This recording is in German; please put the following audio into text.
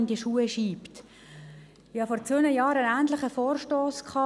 » Ich habe vor zwei Jahren einen ähnlichen Vorstoss eingereicht.